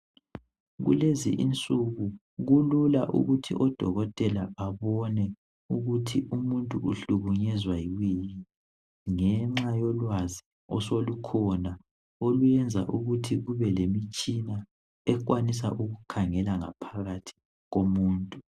Kulezi insuku kulula ukuthi odokotela babone ukuthi umuntu uhlukunyezwa yikuyini ngenxa yolwazi osolukhona oluyenza ukuthi kube lemitshina ekwanisa ukukhangela ngaphakathi komuntu.